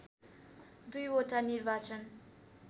२ वटा निर्वाचन